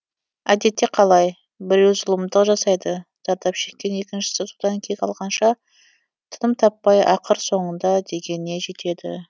әдетте қалай біреу зұлымдық жасайды зардап шеккен екіншісі содан кек алғанша тыным таппай ақыр соңында дегеніне жетеді